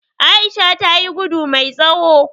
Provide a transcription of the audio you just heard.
Aisha tayi gudu mai tsawo